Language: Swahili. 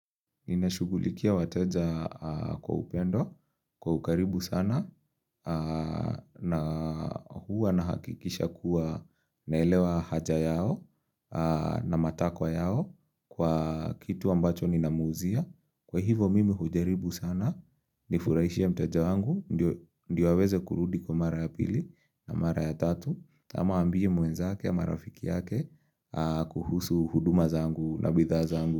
Ninashughulikia wateja kwa upendo, kwa ukaribu sana, na huwa nahakikisha kuwa naelewa haja yao na matakwa yao kwa kitu ambacho ninamuuzia, Kwa hivyo mimi hujaribu sana, nifurahishe mteja wangu, ndio aweze kurudi kwa mara ya pili na mara ya tatu. Ama aambie mwenzake ama rafiki yake kuhusu huduma zangu na bidhaa zangu.